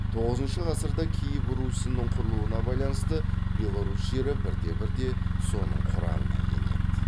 тоғызыншы ғасырда киев русінің құрылуына байланысты беларусь жері бірте бірте соның құрамына енеді